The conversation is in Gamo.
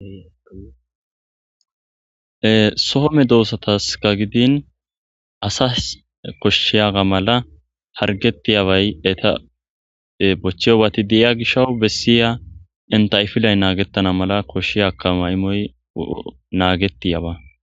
sohome doossataska gidin asas koshshiyaga mala hargettiyabay eta bochcheyobati deiya gishawu bessiya entaifilay naagettana mala koshshiyakkama imoy naagetiyaba